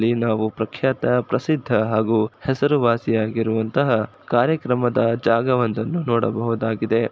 ‌ಇಲ್ಲಿ ನಾವು ಪ್ರಖ್ಯಾತ ಪ್ರಸಿದ್ಧ ಹಾಗೂ ಹೆಸರುವಾಸಿ ಆಗಿರುವಂತಹ್ ಕಾರ್ಯಕ್ರಮದ ಜಾಗವಂದನ್ನು ನೋಡಬಹುದಾಗಿದೆ.